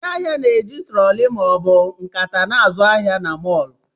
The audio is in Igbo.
Ndị ahịa na na-eji trọọli ma ọ bụ nkata na-azụ ahịa na mọọlụ.